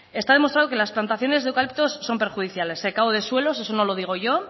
está demostrado que las plantaciones de eucaliptos son perjudiciales secado de suelo eso no lo digo yo